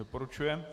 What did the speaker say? Doporučuje.